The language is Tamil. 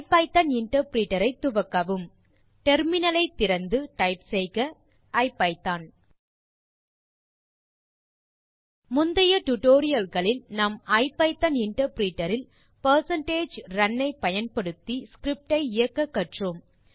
ஐபிதான் இன்டர்பிரிட்டர் ஐ துவக்கவும் டெர்மினல் ஐ திறந்து டைப் செய்க ஐபிதான் முந்தைய டியூட்டோரியல் களில் நாம் ஐபிதான் இன்டர்பிரிட்டர் இல் பெர்சென்டேஜ் ரன் ஐ பயன்படுத்தி ஸ்கிரிப்ட் ஐ இயக்க கற்றோம்